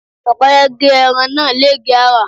Ọ̀kẹ́rẹ́ gé ẹran náà légèé àrà.